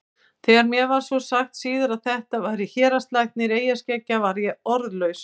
Þegar mér var svo sagt síðar að þetta væri héraðslæknir eyjaskeggja varð ég orðlaus.